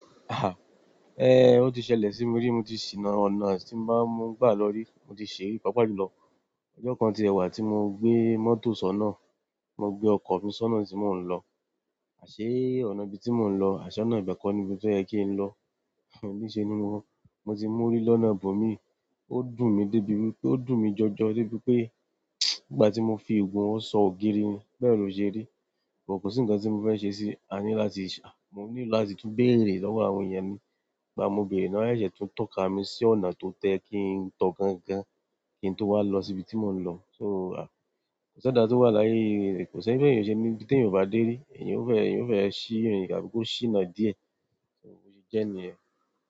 Ah! Ẹn, ó ti ṣẹlẹ̀ sí mi rí, mo ti sì nà ọ̀nà tí mo bá ń gbà lọ rí, mo ti ṣè yí pàápàá jù lọ. Ọjọ́ kan ti ẹ̀ wà tí mo gbé mọ́tò sọ́nà, tí mo gbé ọkọ̀ mi sọ́nà tí mò ń lọ, àṣé ọ̀nà ibi tí mò ń lọ àṣé ọ̀nà ibẹ̀ kọ́ nibi tó yẹ kí n lọ ní ṣe ni mo, mo ti mórí lọ́nà ibò míì, ó dùn mí dé bi wípé, ó dùn mí jọjọ dé bi pé ìgbà tí mo fi igun ọwọ́ sọ ògiri ni, bẹ́ẹ̀ ló ṣe rí. But kò sí ǹkan tí mo fẹ́ ṣe sí i, a ní láti, à, mo need láti tún béèrè lọ́wọ́ àwọn èèyàn mi, ìgbà mo bèèrè ná ṣẹ̀ṣẹ̀ tún tọ́ka mi sí ọ̀nà tó tóyẹ kí n tọ̀ gangan kí n tó wá lọ sí ibi tí mò ń lọ. So, à, kò sí ẹ̀dá tó wà láyé yìí, kò sí bí ènìyàn ò se ní-- ibi tí èèyàn ò bá dé rí. Èèyàn ó fẹ́, èèyàn ó fẹ́ ṣì ìrìn tà bí kó ṣì nà díẹ̀, so bó ṣe jẹ́ nìyẹn.